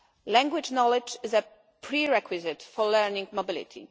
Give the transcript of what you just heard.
Language knowledge is a pre requisite for learning mobility.